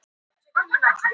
Þórarinsstöðum